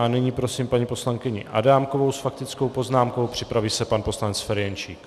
A nyní prosím paní poslankyni Adámkovou s faktickou poznámkou, připraví se pan poslanec Ferjenčík.